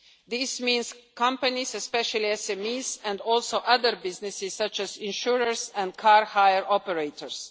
in general. This means companies, especially SMEs and also other businesses, such as insurers and car hire